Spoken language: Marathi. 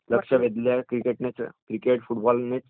लक्ष वेधलं आहे क्रिकेट फुटबॉलनेच